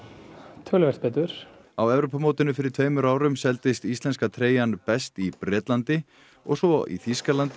töluvert betur á Evrópumótinu fyrir tveimur árum seldist íslenska treyjan best í Bretlandi og svo Þýskalandi